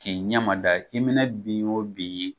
K'i ɲɛma da i mɛ na bin o bin ye.